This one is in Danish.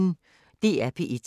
DR P1